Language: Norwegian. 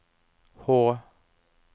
H